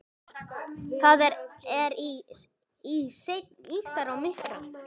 Það er í senn ýktara og mýkra.